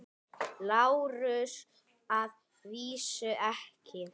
LÁRUS: Að vísu ekki.